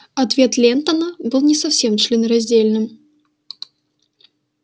ответ лентона был не совсем членораздельным